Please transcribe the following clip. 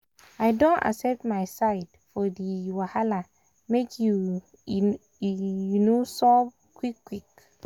i don accept my side for di um wahala make e um solve um quick quick.